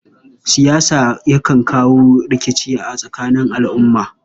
Siyasa yakan kawo rikici a tsakanin al'umma.